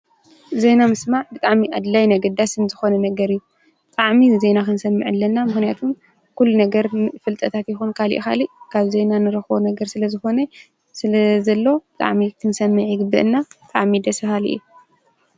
ዜና ምስማዕ ብጣዕሚ ኣድላይን ኣገዳስን ዝኮነ ነገር እዩ ብጣዕሚ ዜና ክንሰምዕ ኣለና ምክንያቱ ኩሉ ነገር ፍልጠታት ይኩን ካሊእ ካሊእ ካብ ዜና ንረክቦ ነገር ስለ ዝኮነ ስለ ዘሎ ብጣዕሚ ክንሰምዕ ይግበኣና ብጣዕሚ ደስ በሃሊ እዩ።